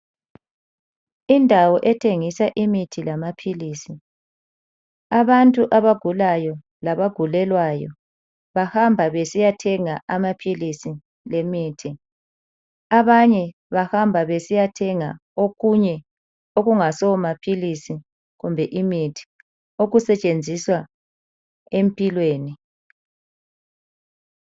Indawo ethengisa imithi lamaphilisi, abantu abagulayo labagulelwayo , bahamba besiyathenga amaphilisi lemithi, abanye bahamba besiyathenga okunye okungasomaphilisi kumbe imithi, okusetshenziswa empilweni.